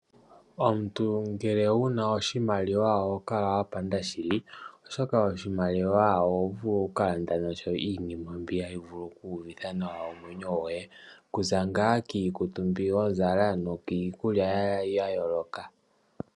Omuntu mgele wu na oshimaliwa ohokala wapanda shili, oshoka oshimaliwa ohovulu okukalanda nasho iinima mbi hayi vulu okuuvitha nawa omwenyo goye okuza ngaa kiikutu mbi wazala nokiikulya